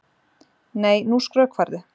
Nei, nú skrökvarðu!